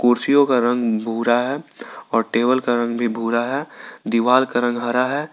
कुर्सीयो का रंग भूरा है और टेबल का रंग भी भुरा है दीवाल का रंग हरा है।